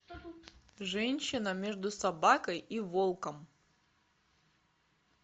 женщина между собакой и волком